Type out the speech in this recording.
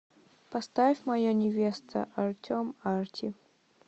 поставь моя невеста артем арти